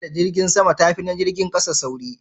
tafiya da jirgin sama ta fi na jirgin ƙasa sauri?